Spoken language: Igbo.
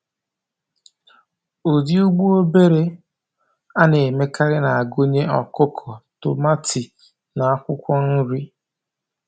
Ụdị ugbo obere a na-emekarị na-agụnye ọkụkọ, tomati, na akwụkwọ nri.